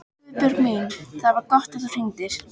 Guðbjörg mín, það var gott að þú hringdir.